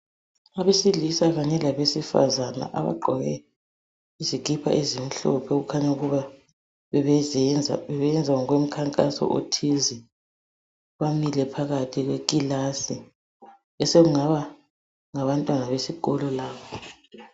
Abesilisa kanye labesifazana abagqoke izikipa ezimhlophe okukhanya ukuba bebeyenza ngokomkhankaso othize. Bamile phakathi kwekilasi esekungaba ngabantwana besikolo labo.